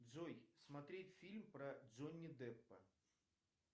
джой смотреть фильм про джонни деппа